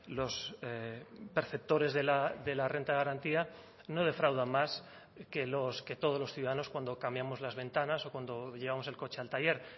los perceptores de la renta de garantía no defraudan más que los que todos los ciudadanos cuando cambiamos las ventanas o cuando llevamos el coche al taller